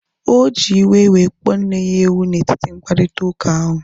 Oji iwe wee kpọọ nne ya ewu na etiti mkparịta ụka ahu